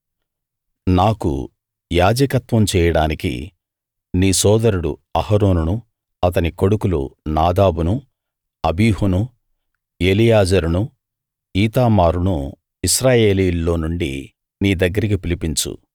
నాకు యాజకత్వం చేయడానికి నీ సోదరుడు అహరోనును అతని కొడుకులు నాదాబును అబీహును ఎలియాజరును ఈతామారును ఇశ్రాయేలీయుల్లో నుండి నీ దగ్గరికి పిలిపించు